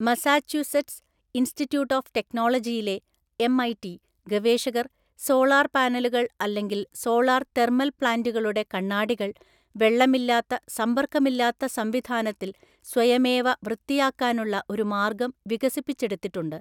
Massachusetts institute of ടെക്‌നോളജിയിലെ (MIT) ഗവേഷകർ solar പാനലുകൾ അല്ലെങ്കിൽ സോളാർ തെർമൽ പ്ലാന്റുകളുടെ കണ്ണാടികൾ, വെള്ളമില്ലാത്ത, സമ്പർക്കമില്ലാത്ത സംവിധാനത്തിൽ സ്വയമേവ വൃത്തിയാക്കാനുള്ള ഒരു മാർഗം വികസിപ്പിച്ചെടുത്തിട്ടുണ്ട്.